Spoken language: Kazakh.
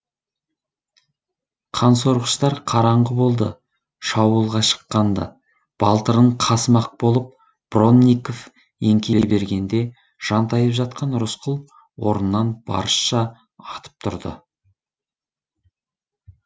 қансорғыштар қараңғы болды шабуылға шыққан ды балтырын қасымақ болып бронников еңкейе бергенде жантайып жатқан рысқұл орнынан барысша атып тұрды